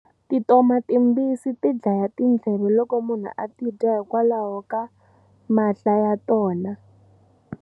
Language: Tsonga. Tintoma timbisi ti dlaya tindleve loko munhu a ti dya hikokwalaho ka mahla ya tona.